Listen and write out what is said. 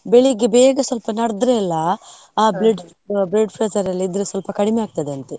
ಬೆಳಿಗ್ಗೆ ಬೇಗ ಸ್ವಲ್ಪ ನಡದ್ರೆ ಎಲ್ಲಾ, blood pressure ಇದ್ರೆ ಸ್ವಲ್ಪ ಕಡಿಮೆ ಆಗ್ತದೆ ಅಂತೆ.